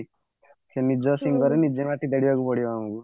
ସେ ନିଜେ ମାଟି ତାଡିବାକୁ ପଡିବ ଆମକୁ